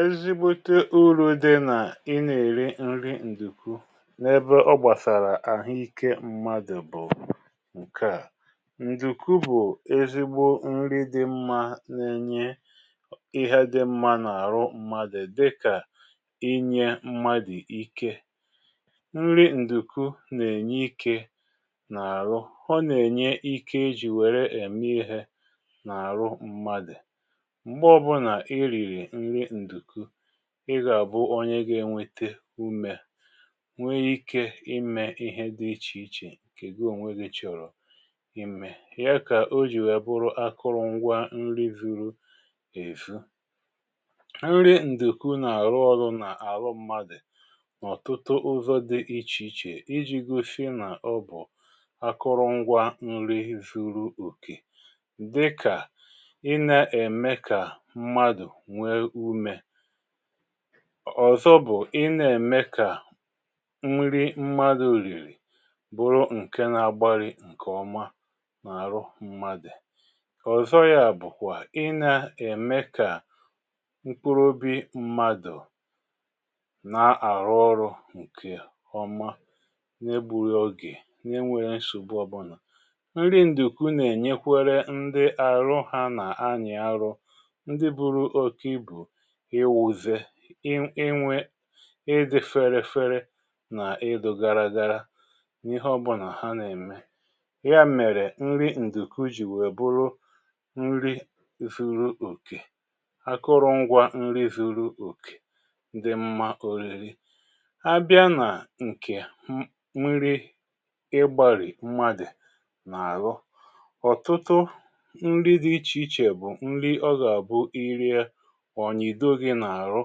Ezigbote uru̇ dị nà ị nà-èri nri ǹdùku n’ebe ọ gbàsàrà àhụ ikė mmadụ̀ bụ̀ ǹkè à: ǹdùku bụ̀ ezigbo nri dị mmȧ na-enye ịhe dị mmȧ n’àrụ mmadụ̀ dịkà ịnyė mmadụ̀ ike. Nri ǹdùku nà-ènye ikė n’àrụ. Ọ nà-ènye ike i jì wère ème ihė n’àrụ mmadụ̀. Mgbe ọbụna ị riri nri ǹdùku, ị gà-àbụ onye ga-enwete umė, nwee ike imė ihe dị ichè ichè nkè gu ònwe gi̇ chọrọ imė. Ya kà o jì wèe bụrụ akụrụngwa nri vuru èvu. Nri ǹdùku nà-àrụ ọrụ nà-àrụ mmadù ọ̀tụtụ ụzọ̇ dị ichè ichè iji̇ gosie nà ọ bụ̀ akụrụngwa nri zuru òkè, dịkà ị na-eme ka mmadu nwe ume. Ọ̀zọ bụ̀ ị na-ème kà nri mmadụ̀ rìrì bụrụ ǹke na-agbari ǹkè ọma n’àrụ mmadù. Ọ̀zọ yȧ bụ̀kwà ị nà-ème kà mkpuru obi mmadụ̀ na-àrụ ọrụ̇ ǹkè ọma, na-egbughị oge, na-enweghị nsògbu ọbụlà. Nri ǹdùku nà-ènyekwere ndị àrụ ha nà anyị arụ, ndị buru oke ibu ịwuze, ị ị inwė ị dị̇ fere fere, nà ịdụ̇ gara gara n’ihe ọbụnà ha nà-ème. Ya mèrè nri ǹdùku jì wèe bụrụ nri zuru okè, akụrụngwa nri zuru okè, dị mma ȯrìrì. Abịa nà ǹkè n nri ịgbȧrì mmadù nà-àlụ, ọ̀tụtụ nri dị ichè ichè bụ̀ nri ọ gà-àbụ ị ri̇e, ọ nyido gi n’àrụ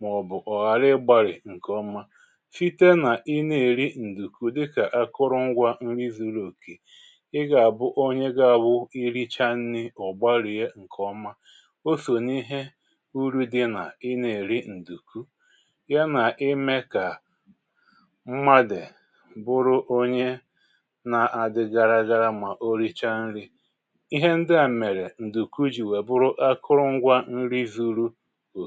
mà ọ̀ bụ̀ ọ̀ ghàrị ị gbàrị̀ ǹkèọma. Site nà i na-èri ǹdùkù dịkà akụrụngwȧ nri zuru òkè, i gà-àbụ onye ga-awụ ị richa nri̇, ọ̀ gbalìe ǹkèọma. Oso n’ihe uru̇ dị nà ị na-èri ǹdùku ya nà ime kà mmadù bụrụ onye na-adị gara garara mà o richaa nri̇. Ihe ndi à mèrè ǹdùku jì we bụrụ akụrụngwȧ nri zuru o